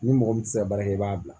Ni mɔgɔ min tɛ se ka baara kɛ i b'a bila